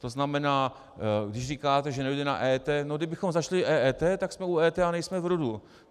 To znamená, když říkáte, že nedojde na EET, no kdybychom začali EET, tak jsme u EET a nejsme v RUD.